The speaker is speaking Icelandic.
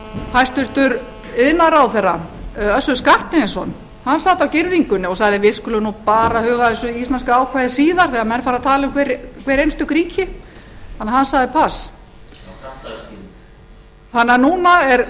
hæstvirtur iðnaðarráðherra össur skarphéðinsson hann sat á girðingunni og sagði við skulum nú bara huga að þessu íslenska ákvæði síðar þegar menn fara að tala um hver einstök ríki hann sagði það þannig að núna er